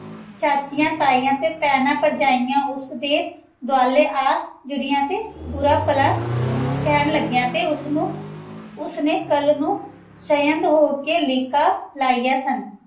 ਚਾਚਿਯਾਂ ਤੈਯਾਂ ਤੇ ਪੈਣਾਂ ਪਰ੍ਜੈਯਾਂ ਓਸ ਦੇ ਦਵਾਲੇ ਆ ਜੂਰਿਯਨ ਤੇ ਬੁਰਾ ਭਲਾ ਕੇਹਨ ਲਾਗਿਯਾਂ ਤੇ ਓਸ ਨੂ ਓਸਨੇ ਕਲ ਉ ਸਏਦ ਹੋ ਕੇ ਲੇਕਨ ਲੈਯਾਂ ਸਨ